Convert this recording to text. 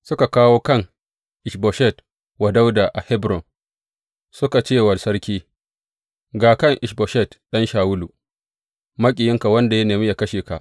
Suka kawo kan Ish Boshet wa Dawuda a Hebron, suka ce wa sarki, Ga kan Ish Boshet ɗan Shawulu, maƙiyinka, wanda ya nemi yă kashe ka.